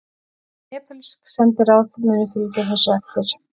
Nepölsk sendiráð munu fylgja þessu eftir